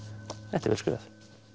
þetta er vel skrifað